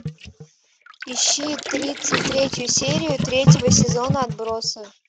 ищи тридцать третью серию третьего сезона отбросы